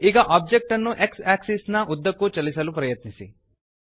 ಈಗ ಒಬ್ಜೆಕ್ಟ್ ಅನ್ನು X axis ನ ಉದ್ದಕ್ಕೂ ಚಲಿಸಲು ಪ್ರಯತ್ನಿಸಿ